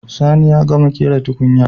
Sani ya gama ƙera tukunyar jiya